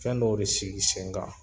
Fɛn dɔw de sigi sen kan